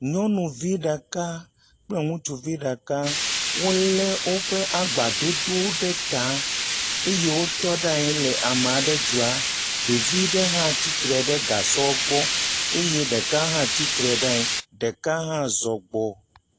Nyɔnuvi ɖeka kple ŋutsuvi ɖeka, wolé woƒe agbadodo ɖe ta eye wotɔ ɖe anyi le ame aɖe dzɔa, ɖevi ɖe hã tsitre ɖe gasɔ gbɔ eye ɖeka tsitre ɖe anyi, ɖeka hã zɔ gbɔ.